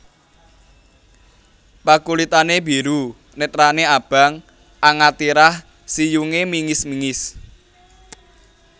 Pakulitané biru netrané abang angatirah siyungé mingis mingis